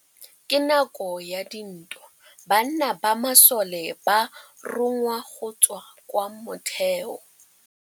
Ka nakô ya dintwa banna ba masole ba rongwa go tswa kwa mothêô.